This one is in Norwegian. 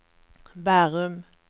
Bærum